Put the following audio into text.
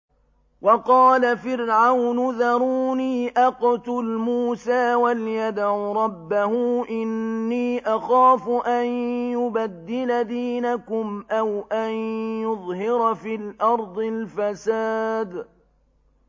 وَقَالَ فِرْعَوْنُ ذَرُونِي أَقْتُلْ مُوسَىٰ وَلْيَدْعُ رَبَّهُ ۖ إِنِّي أَخَافُ أَن يُبَدِّلَ دِينَكُمْ أَوْ أَن يُظْهِرَ فِي الْأَرْضِ الْفَسَادَ